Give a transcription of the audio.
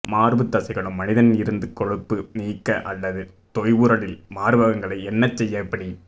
மார்பு தசைகளும் மனிதன் இருந்து கொழுப்பு நீக்க அல்லது தொய்வுறலில் மார்பகங்களை என்ன செய்ய எப்படி